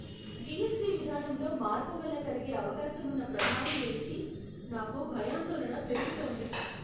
GST విధానంలో మార్పు వల్ల కలిగే అవకాశమున్న ప్రభావం గురించి నాకు భయాందోళన పెరుగుతోంది.